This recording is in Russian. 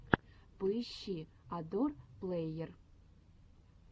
поищи адор плэйер